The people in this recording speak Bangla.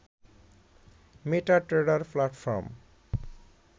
MetaTrader platform